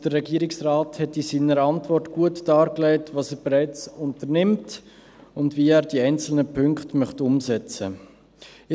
Der Regierungsrat hat in seiner Antwort gut dargelegt, was er bereits unternimmt und wie er die einzelnen Punkte umsetzen möchte.